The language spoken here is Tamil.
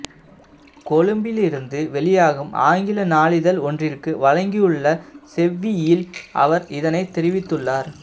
கொழும்பிலிருந்து வெளியாகும் ஆங்கில நாளிதழ் ஒன்றிற்கு வழங்கியுள்ள செவ்வியில் அவர் இதனை தெரிவித்துள்ளார்